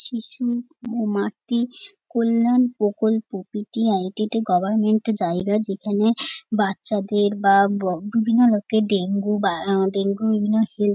শিশু ও মাতৃ কল্যাণ প্রকল্প পি.টি.আই. এটি গভারমেন্ট -এ জায়গা যেখানে বাচ্চাদের বা ব বিভিন্ন রোগের ডেঙ্গু বা আহ ডেঙ্গু বিভিন্ন সে--